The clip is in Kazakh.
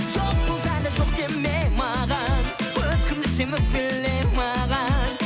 жоқ болса да жоқ деме маған өкіндірсем өкпеле маған